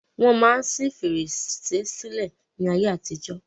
Wọ́n máa ń ṣi fèrèsé sílẹ̀ ni ayé àtijọ́.